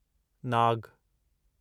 नाग